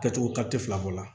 Kɛcogo fila ko la